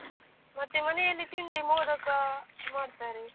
ಮತ್ತೆ ಮನೆಯಲ್ಲಿ ತಿಂಡಿ ಮೋದಕ ಮಾಡ್ತಾರೆ.